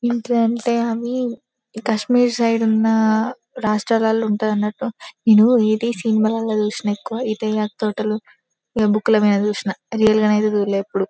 ఏంటంటే అవి కాశ్మీర్ సైడ్ ఉన్న రాష్ట్రాలల్ల ఉంటధనట్టు నేను ఇది సినిమా లలో చుసిన ఎక్కువ ఈ తెగకు తోటలో ఇగ బుక్ ల మీద చుసిన రియల్ గ ఐతే చూడాలే ఎప్పుడు .